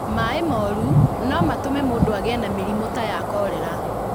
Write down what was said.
Maaĩ moru no matũme mũndũ agĩe na mĩrimũ ta ya kolera.